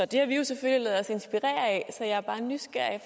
det har vi jo selvfølgelig ladet os inspirere af så jeg er bare nysgerrig